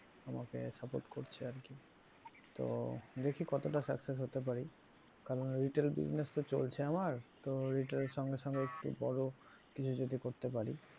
আমাকে support করছে আর কি তো দেখি কতটা success হতে পারি কারণ retail business তো চলছে আমার তো retail এর সঙ্গে সঙ্গে একটু বড় কিছু যদি করতে পারি।